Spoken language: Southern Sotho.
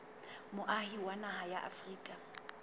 moahi wa naha ya afrika